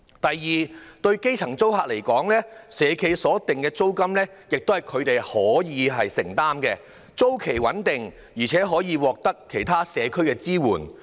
第二，對基層租客而言，社企所訂的租金是他們可以負擔的，租期穩定，而且可以獲得其他社區支援。